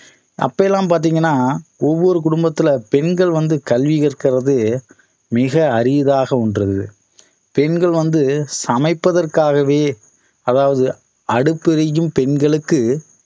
அப்ப எல்லாம் பாத்தீங்கன்னா ஒவ்வொரு குடும்பத்துல பெண்கள் வந்து கல்வி கற்கிறதே மிக அரியதாக ஒண்று பெண்கள் வந்து சமைப்பதற்காகவே அதாவது அடுப்பு எரிக்கும் பெண்களுக்கு